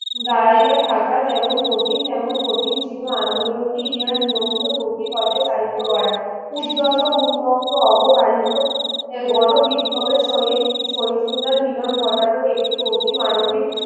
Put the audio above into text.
ধরাইয়া থাকা যেমন কঠিন তেমন কঠিন ছিল আন্দোলন কে ইহার নিয়মিত কচি পথে চালিত করা উর্দ্ধত উত্যক্ত অবগাড়িতো এর গণ বিক্ষোভের সহিত সহিষ্ণুতার মিলন ঘটানোর একটি অতি মানবিক